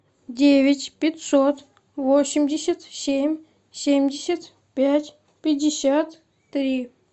девять пятьсот восемьдесят семь семьдесят пять пятьдесят три